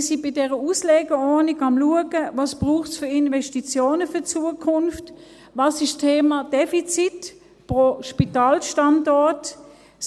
Wir sind mit dieser Auslegeordnung am Schauen, was es für die Zukunft für Investitionen braucht, was mit dem Thema Defizit pro Standort ist.